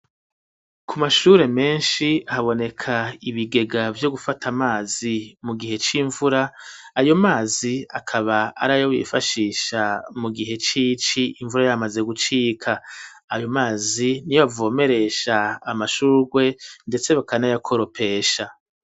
Ku mashure menshi haboneka ibigega vyo gufata amazi mu gihe c'imvura ayo mazi akaba arayo bifashisha mu gihe c'ici imvura yamaze gucika, ayo mazi niyo bavomeresha amashurwe ndetse bakanaya koropesha.